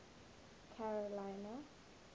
carolina